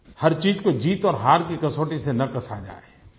हर चीज़ को जीत और हार की कसौटी से न कसा जाये